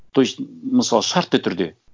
то есть мысалы шартты түрде